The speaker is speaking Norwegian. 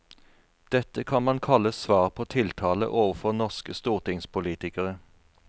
Dette kan man kalle svar på tiltale overfor norske stortingspolitikere.